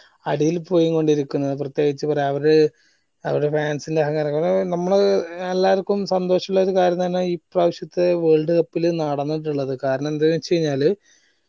അടിയിൽ പോയിക്കൊണ്ടിരിക്കുന്നത് പ്രതേകിച് അവര് അവരെ fans ന്റെ അഹങ്കാരം കൊറേ നമ്മള് എല്ലാരിക്കും സന്തോഷം ഉള്ള ഒരു കാര്യം തന്നെ ഇപ്രാവശ്യത്തെ world cup ല് നടന്നിട്ടുള്ളത് കാരണം എന്തീന്ന് വെച്ചഴിഞ്ഞാല്